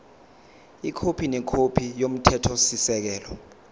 ikhophi nekhophi yomthethosisekelo